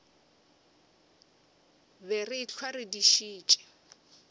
be re ehlwa re dišitše